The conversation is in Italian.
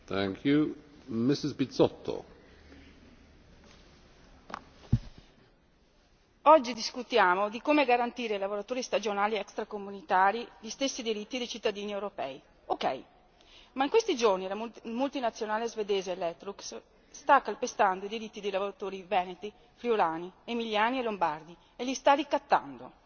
Signor Presidente, onorevoli colleghi, oggi discutiamo di come garantire ai lavoratori stagionali extracomunitari gli stessi diritti dei cittadini europei, va bene, ma in questi giorni la multinazionale svedese Electrolux sta calpestando i diritti dei lavoratori veneti, friulani, emiliani e lombardi e li sta ricattando.